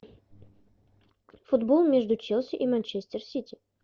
футбол между челси и манчестер сити